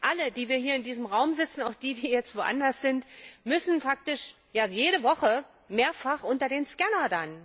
Alle, die wir hier in diesem Raum sitzen und auch die, die jetzt woanders sind müssten dann faktisch jede Woche mehrfach unter den Scanner.